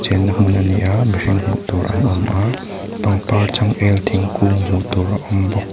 chenna hmun a ni a a mihring hmuh tur an awm a pangpar changel thingkung hmuh tur a awm bawk.